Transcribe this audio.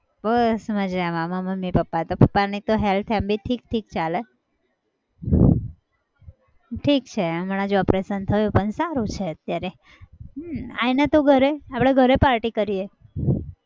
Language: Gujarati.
બસ મજામાં મારા મમ્મી પપ્પા તો. પપ્પાની તો health એમ બી ઠીક ઠીક ચાલે. ઠીક છે હમણાં જ operation થયું પણ સારું છે અત્યારે હમ આવ ને તું ઘરે આપણે ઘરે party કરીએ.